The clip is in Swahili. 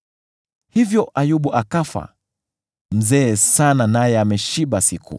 Hivyo Ayubu akafa, akiwa mzee aliyekuwa ameshiba siku.